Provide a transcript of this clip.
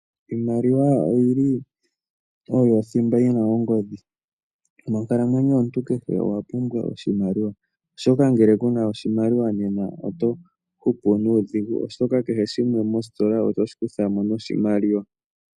Iimaliwa oyo oyili thimba yina ongodhi. Monkalamwenyo yomuntu kehe owa pumbwa oshimaliwa oshoka ngele kuna oshimaliwa oto hupu nuudhingu. Oshoka kehe shimwe moositola oto shi kutha mo noshimaliwa.